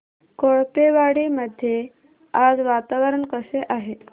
कोळपेवाडी मध्ये आज वातावरण कसे आहे